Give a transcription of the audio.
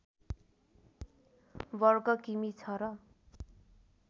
वर्ग किमि छ र